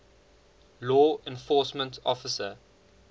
law enforcement officer